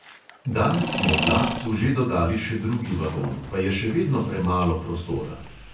Danes smo vlakcu že dodali še drugi vagon, pa je še vedno premalo prostora.